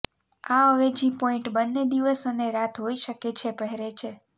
આ અવેજી પોઈન્ટ બંને દિવસ અને રાત હોઇ શકે છે પહેરે છે